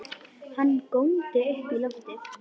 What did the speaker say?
Hann góndi upp í loftið!